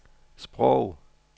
sprog